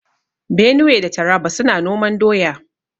Benue da Taraba suna noman doya.